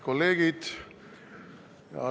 Kolleegid!